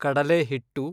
ಕಡಲೆ ಹಿಟ್ಟು